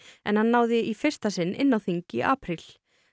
en hann náði í fyrsta sinn inn á þing í apríl